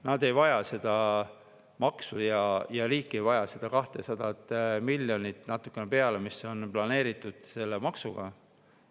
Nad ei vaja seda maksu ja riik ei vaja seda 200 miljonit ja natuke peale, mis on planeeritud selle maksuga.